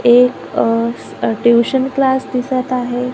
एक अह tuition class दिसत आहे.